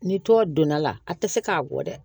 Ni to donna la a tɛ se k'a bɔ dɛ